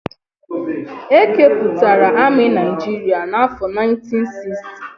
E kepụtara amị Naijiria n'afọ 1960.